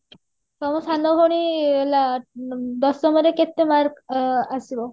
ତମ ସାନ ଭଉଣୀ ଲା ମ ଦଶମରେ କେତେ mark ଅ ଆସିବ